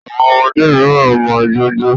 Àwọn ọmọdé miran mọ ìjọ ñjo.